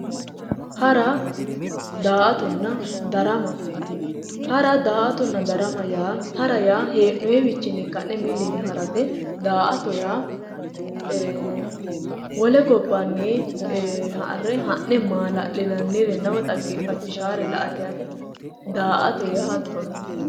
Hara, daa"attonna ,darama, hara daa"attonna darama yaa hee'noniwinni ka'ne milli yine harate ,daa"atto yaa ee wole gobbanni ha'ne mala'linannirenna dhaggefachishare la"ate yaate daa"atto yaa hattonni.